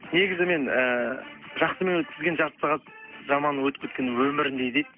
негізі мен ііі жақсымен өткізген жарты сағат жаманның өтіп кеткен өміріңдей дейді